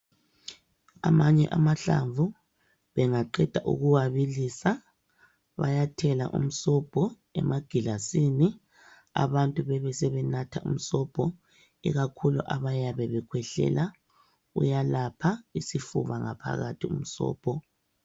Amanye amahlamvu bengaqeda ukuwabilisa bayathela umsobho emagilasini, abantu bebesebenatha umsobho ikakhulu abayabe bekhwehlela uyalapha isifuba ngaphakathi umsobho.